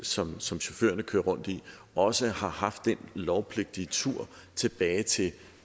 som som chaufførerne kører rundt i også har haft den lovpligtige tur tilbage til